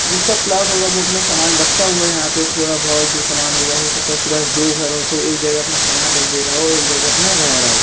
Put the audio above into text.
जिसका प्लॉट होगा वो अपना सामान रखता हुआ यहां पे थोड़ा बहुत जो सामान वह हो सकता है उसके पास दो घर हो तो एक जगह अपना सामान रख दे रहा हो एक जगह अपना रह रहा हो।